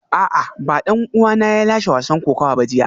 A'a ba dan uwana ne ya lashe wasan kokawa ba jiya